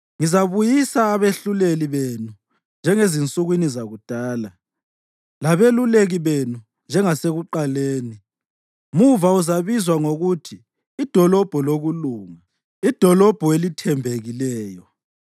Ngizabuyisa abehluleli benu njengezinsukwini zakudala, labeluleki benu njengasekuqaleni. Muva uzabizwa ngokuthi iDolobho Lokulunga, iDolobho Elithembekileyo.”